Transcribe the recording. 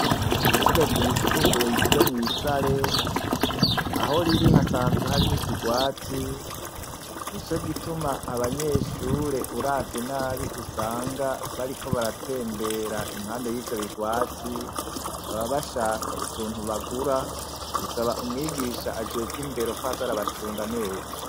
Ishure ryisumbuye ryo mwisare, aho riri hasanzwe hari n'iirwati nico gituma abanyeshure uravye nabi usanga bariko baratembera murivyo bigwati baba bashaka utuntu bagura, umwigisha ajejwe indero kwaza arabacunga neza.